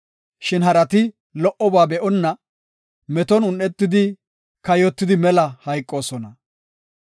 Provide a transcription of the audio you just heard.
Shin harati lo77oba be7onna, meton un7etidi kayotida mela hayqoosona.